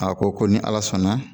A ko ko ni ala sɔnna